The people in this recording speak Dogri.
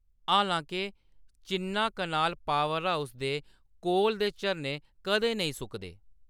हालांके, चिन्नाकनाल पावर हाउस दे कोल दे झरने कदें नेईं सुकदे।